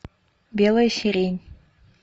белая сирень